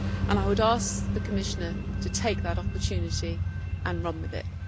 I would ask the Commissioner to take that opportunity and run with it.